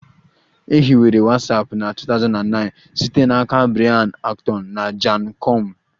E hiwere Watsapụ na 2009 site n'aka Brian Acton na Jan koum